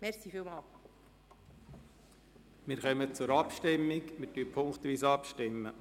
Wir kommen zur Abstimmung, bei der wir punktweise vorgehen.